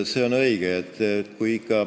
See on õige.